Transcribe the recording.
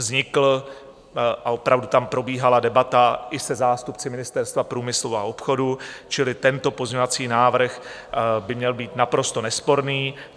Vznikl - a opravdu tam probíhala debata - i se zástupci Ministerstva průmyslu a obchodu, čili tento pozměňovací návrh by měl být naprosto nesporný.